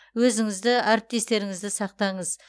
өзіңізді әріптестеріңізді сақтаңыз